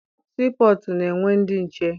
Sii pọtụ na-enwe ndị nche.